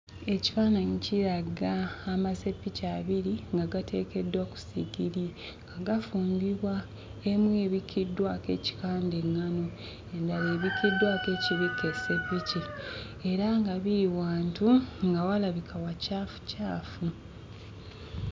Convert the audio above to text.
Ekifaananyi kiraga amaseppiki abiri nga gateekeddwa ku sigiri nga gafumbibwa. Emu ebikkiddwako ekikanda eŋŋano, endala ebikkiddwako ekibikka esseppiki era nga biri wantu nga walabika wacaafucaafu.